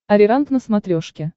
ариранг на смотрешке